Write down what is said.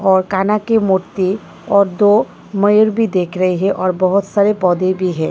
और काना की मूर्ति और दो मयूर भी देख रहे हैं और बहुत सारे पौधे भी हैं।